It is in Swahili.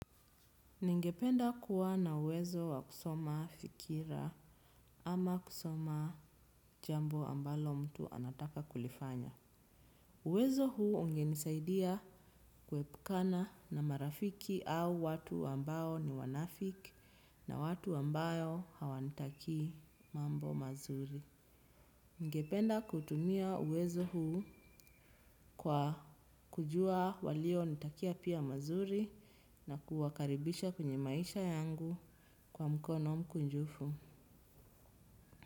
Ningependa kuwa na uwezo wa kusoma fikira ama kusoma jambo ambalo mtu anataka kulifanya. Uwezo huu ungenisaidia kuepukana na marafiki au watu ambao ni wanafiki na watu ambayo hawanitakii mambo mazuri. Ningependa kutumia uwezo huu kwa kujua walionitakia pia mazuri na kuwakaribisha kwenye maisha yangu kwa mkono mkunjufu.